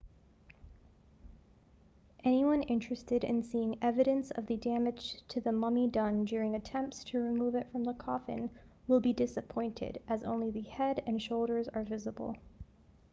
anyone interested in seeing evidence of the damage to the mummy done during attempts to remove it from the coffin will be disappointed as only the head and shoulders are visible